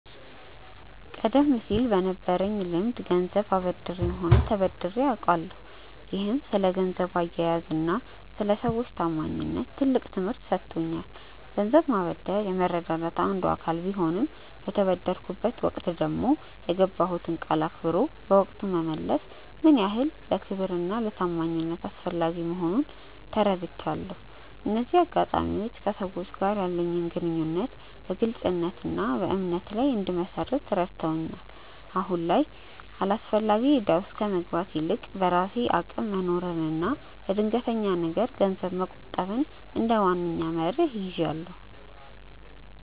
ቀደም ሲል በነበረኝ ልምድ ገንዘብ አበድሬም ሆነ ተበድሬ አውቃለሁ፤ ይህም ስለ ገንዘብ አያያዝና ስለ ሰዎች ታማኝነት ትልቅ ትምህርት ሰጥቶኛል። ገንዘብ ማበደር የመረዳዳት አንዱ አካል ቢሆንም፣ በተበደርኩበት ወቅት ደግሞ የገባሁትን ቃል አክብሮ በወቅቱ መመለስ ምን ያህል ለክብርና ለታማኝነት አስፈላጊ መሆኑን ተረድቻለሁ። እነዚህ አጋጣሚዎች ከሰዎች ጋር ያለኝን ግንኙነት በግልጽነትና በእምነት ላይ እንድመሰርት ረድተውኛል። አሁን ላይ ግን አላስፈላጊ እዳ ውስጥ ከመግባት ይልቅ፣ በራሴ አቅም መኖርንና ለድንገተኛ ነገር ገንዘብ መቆጠብን እንደ ዋነኛ መርህ ይዣለሁ።